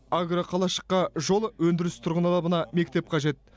агроқалашыққа жол өндіріс тұрғын үй алабына мектеп қажет